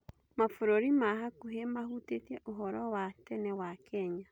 Mabũrũri ma hakuhĩ mahutĩtiĩ ũhoro wa tene wa kenya.